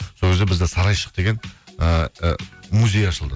сол кезде бізде сарайшық деген ыыы музей ашылды